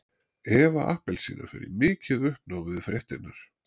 Eva appelsína fer í mikið uppnám við fréttirnar.